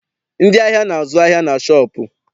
Ndị ahịa na- azụ ahịa na shọọpụ.